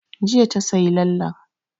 Jiya ta yi lallen